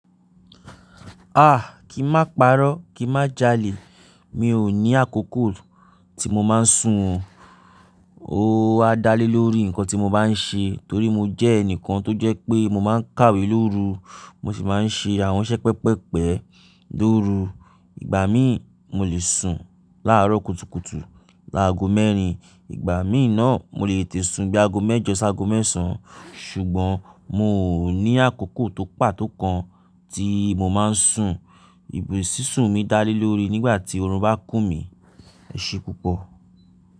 Aà! Kí n má parọ́, kí n má jalè. Mi ò ní àkókò tí mo máa ń sùn. O wà dá lé lórí nǹkan tí mo bá ń ṣe torí mo jẹ́ ẹnìkan tó jẹ́ pé mo máa ń kàwé lóru, mo sì máa ń ṣe àwọn iṣẹ́ pẹpẹ́pẹ́ lóru. Ìgbà míì mo lè sùn láàárọ̀ kùtùkùtù, láago mẹ́rin. Ìgbà míì náà mo lè tètè sùn bí i aago mẹ́jọ ṣé aago mẹ́sàn án. Ṣùgbọ́n mi ò ní àkókò tó pàtó kan tí mo máa ń sùn. Ìbò sísùn mi dá lé lórí nígbà tí oorun bá kú mi. Ẹ̀ṣẹ̀ púpọ̀.